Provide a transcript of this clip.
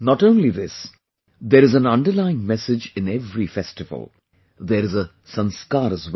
Not only this, there is an underlying message in every festival; there is a Sanskar as well